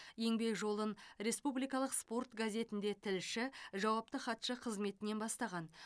еңбек жолын республикалық спорт газетінде тілші жауапты хатшы қызметінен бастаған